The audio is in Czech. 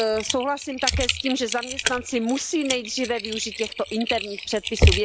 Souhlasím také s tím, že zaměstnanci musí nejdříve využít těchto interních předpisů.